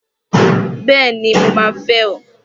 Bẹ́ẹ̀ni! Mo máa fẹ́ ọ!